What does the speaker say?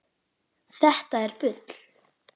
Þetta er bull!